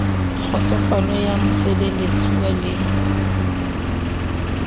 le kgotsofalo ya mosebeletsuwa le